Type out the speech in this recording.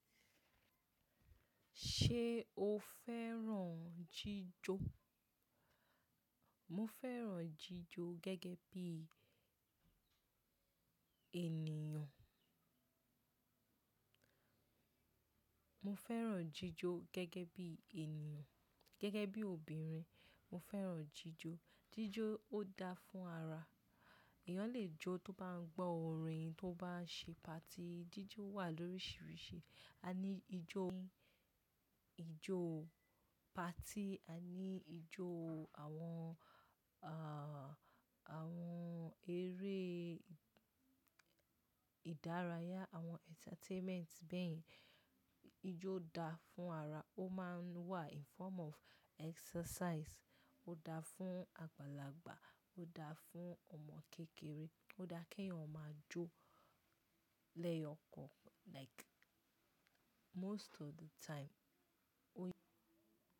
Ṣé o fẹ́ràn jíjó? Mo fẹ́ràn jíjó gẹ́gẹ́ bí ènìyàn. Mo fẹ́ràn jíjó gẹ́gẹ́ bí ènìyàn, gẹ́gẹ́ bí obìnrin. Mo fẹ́ràn jíjó. Jíjó ó dáa fún ara. Èèyàn lè jó tó bá ń gbọ́ orin, tó bá ń ṣe party. Jíjó wà lóríṣiríṣi. A ní ìjo party, a ní ìjo àwọn, àwọn eré ìdárayá, àwọn entertainment. Bẹ́ẹ̀ ni, ijó dáa fún ara. Ó máa ń wà in form of exercise. Ó dáa fún àgbàlagbà, ó dáa fún ọmọ kékeré. Ó dáa kí èèyàn ó máa jó lẹ́yọ̀kan like most of the time. Ó yẹ.